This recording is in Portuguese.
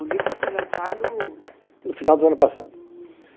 O livro foi lançado... No final do ano passado.